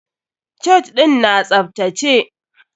Church ɗin na tsaftace.